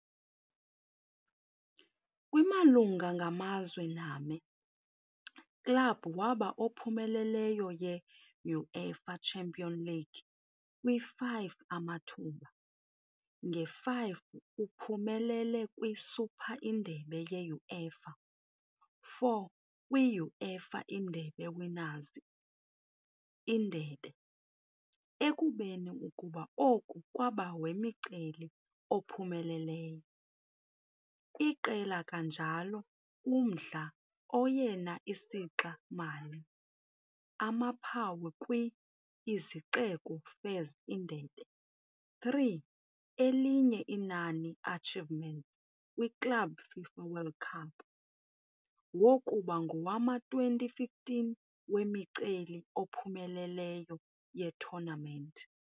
Kwi-malunga ngamazwe name, club waba ophumeleleyo ye - UEFA Champions League kwi-5 amathuba, nge-5 uphumelele kwi - Super indebe ye-UEFA, 4 kwi - uefa Indebe Winners ' Indebe, ekubeni ukuba oku kwaba wemiceli-ophumeleleyo, iqela kanjalo umdla oyena isixa-mali amaphawu kwi - i-Izixeko Fairs Indebe, 3, elinye inani achievements kwi - Club FIFA World Cup, wokuba ngowama-2015 wemiceli-ophumeleleyo ye-tournament.